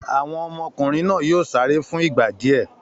Àwọn ọmọkùnrin náà yóò sáré fún ìgbà díẹ̀!